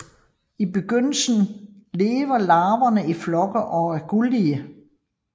I begyndelsen lever larverne i flokke og er gullige